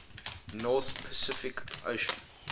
north pacific ocean